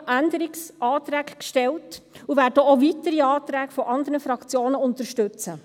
Deshalb haben wir Änderungsanträge gestellt und werden auch weitere Anträge von anderen Fraktionen unterstützen.